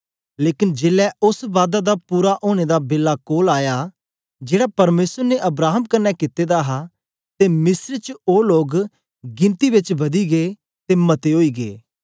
लेकन जेलै ओस बादा दा पूरा ओनें दा बेला कोल आया जेड़ा परमेसर ने अब्राहम कन्ने कित्ते दा हा ते मिस्र च ओ लोग गिनती बेच बदी गै ते मते ओई गै